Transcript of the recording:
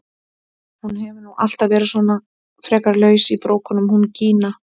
Hún hefur nú alltaf verið svona frekar laus í brókunum hún Gína!